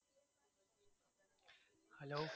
hello